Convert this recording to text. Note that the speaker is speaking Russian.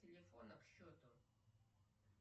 телефона к счету